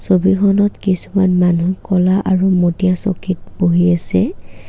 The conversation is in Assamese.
ছবিখনত কিছুমান মানুহ ক'লা আৰু মটিয়া চকীত বহি আছে।